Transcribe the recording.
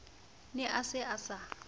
ne a se a sa